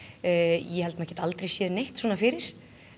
ég held að maður geti aldrei séð neitt svona fyrir